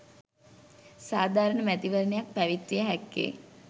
සාධාරණ මැතිවරණයක් පැවැත්විය හැක්කේ